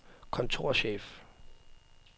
kontorchef